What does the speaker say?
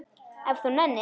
Ef þú nennir.